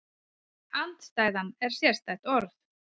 Andstæðan er sérstætt orð.